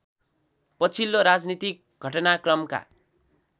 पछिल्लो राजनीतिक घटनाक्रमका